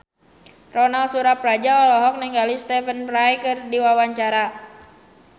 Ronal Surapradja olohok ningali Stephen Fry keur diwawancara